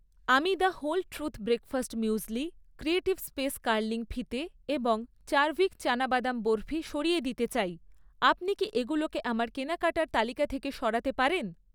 আমি the whole truth breakfast muesli, creative space curling ফিতে এবং চারভিক চানা বাদাম বরফি সরিয়ে দিতে চাই, আপনি কি এগুলোকে আমার কেনাকাটার তালিকা থেকে সরাতে পারেন?